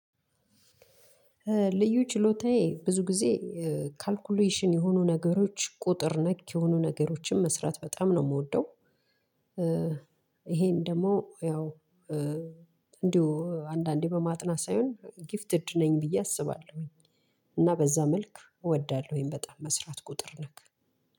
ልዩ ችሎታዬ ብዙ ጊዜ ካልኩሌሽን የሆኑ ነገሮች ቁጥር ነክ የሆኑ ነገሮችን መስራት በጣም ነው የምወደው። ይሄን ደግሞ ያው እንዲሁ አንዳንዴ በማጥናት ሳይሆን ጊፍትድ ነኝ ብዬ አስባለሁ። እና በዛ መልክ እወዳለሁኝ በጣም መስራት ቁጥር ነክ